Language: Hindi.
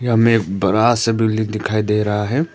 यहां में बड़ा सा बिल्डिंग दिखाई दे रहा है।